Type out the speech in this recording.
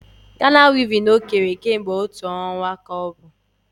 Ghana weaving o kere kemgbe otú ọnwa ka o bu